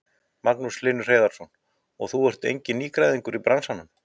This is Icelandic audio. Magnús Hlynur Hreiðarsson: Og þú ert enginn nýgræðingur í bransanum?